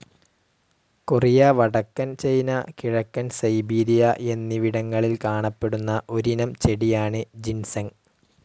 Korea വടക്കൻ China കിഴക്കൻ Siberia എന്നിവിടങ്ങളിൽ കാണപ്പെടുന്ന ഒരിനം ചെടിയാണ് ജിൻസെങ്.